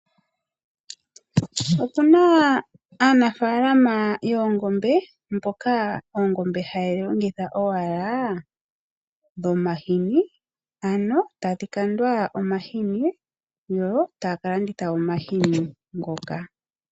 Opu na aanafalama yoongombe mboka oongombe haye dhi longitha owala dhomahini ano tadhi kandwa omahini yo taya kalanditha omahini ngoka.